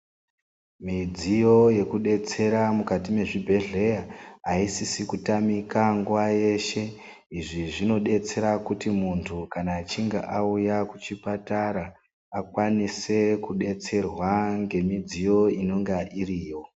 Mudziyo yekubetsera mukati mezvigwehlera aisisi kutamika nguva yeshe izvi zvinobetsera ,kuti muntu kana achinge auya kuchipatara ,akwanise kubetserwa nemidziyo inonga iripo.